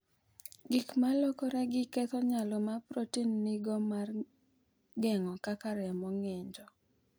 Gik ma lokoregi ketho nyalo ma protin nigo mar geng’o kaka remo ng’injo.